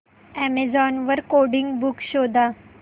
Amazon वर coding books शोधा